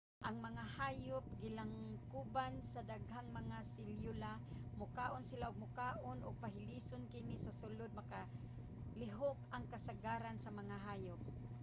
ang mga hayop gilangkuban sa daghang mga selyula. mukaon sila og makaon ug pahilison kini sa sulod. makalihok ang kasagaran sa mga hayop